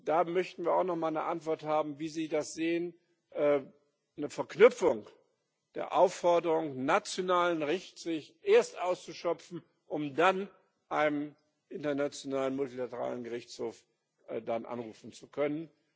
Da möchten wir auch noch mal eine Antwort haben, wie Sie das sehen eine Verknüpfung der Aufforderung, den nationalen Rechtsweg erst auszuschöpfen, um dann einen internationalen, multilateralen Gerichtshof anrufen zu können.